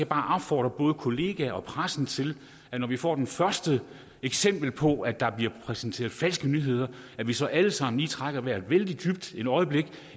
bare opfordre både kollegaer og pressen til når vi får det første eksempel på at der bliver præsenteret falske nyheder at vi så alle sammen lige trækker vejret vældig dybt et øjeblik